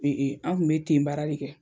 an kun bɛ ten baara de kɛ.